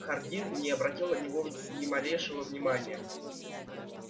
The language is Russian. хардин не обратил на него ни малейшего внимания